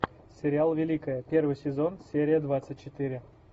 сериал великая первый сезон серия двадцать четыре